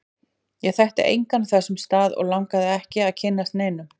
Ég þekkti engan á þessum stað, og langaði ekki að kynnast neinum.